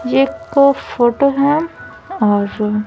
ये एक फोटो है और --